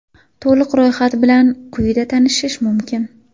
To‘liq ro‘yxat bilan quyida tanishish mumkin.